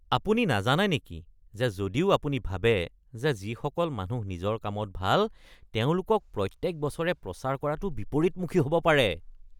আপুনি নাজানে নেকি যে যদিও আপুনি ভাবে যে যিসকল মানুহ নিজৰ কামত ভাল তেওঁলোকক প্ৰত্যেক বছৰে প্ৰচাৰ কৰাটো বিপৰীতমুখী হ’ব পাৰে?